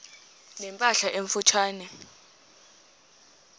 ne mpahla emfutshane